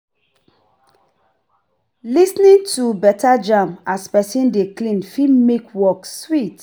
Lis ten ing to better jams as person dey clean fit make work sweet